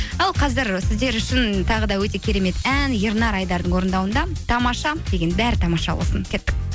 ал қазір сіздер үшін тағы да өте керемет ән ернар айдардың орындауында тамаша деген бәрі тамаша болсын кеттік